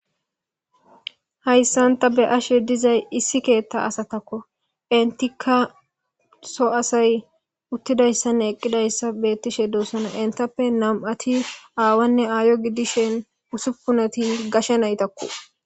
Haysani ta be'ashe dizay issi keeta asatako,entiaka utidaysane eqidaysi betishe dosona, entappe nam'ati awanne aayo gidishn ussupunati gashe nayitako.